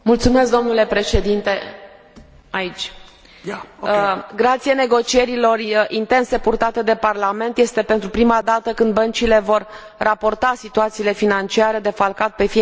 Grație negocierilor intense purtate de Parlament este pentru prima dată când băncile vor raporta situațiile financiare defalcat pe fiecare țară unde au sucursale, și nu numai la nivel general.